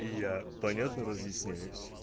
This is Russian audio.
я понятно разъясняюсь